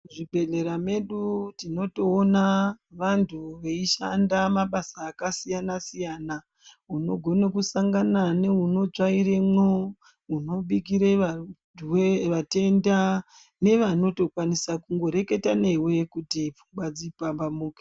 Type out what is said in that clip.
Muzvibhedhlera medu tinotowona vantu veyishanda mabasa akasiyana siyana. Unogone kusangana newunotsvairemwo, umwe unobikire vatenda nevanotokwanisa kungoreketa newe kuti fungwa dzipambamuke.